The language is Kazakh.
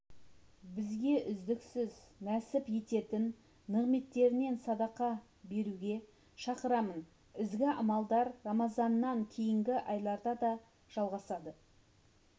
бізге үздіксіз нәсіп ететін нығметтерінен садақа беруге шақырамын ізгі амалдар рамазаннан кейінгі айларда да жалғасын